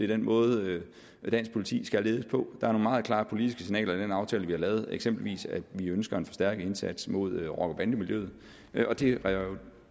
den måde dansk politi skal ledes på der er nogle meget klare politiske signaler i den aftale vi har lavet eksempelvis at vi ønsker en forstærket indsats mod rocker bande miljøet og det er jo